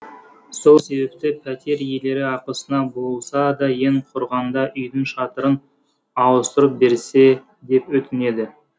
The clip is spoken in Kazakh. сол себепті пәтер иелері ақысына болса да ең құрғанда үйдің шатырын ауыстырып берсе деп өтінеді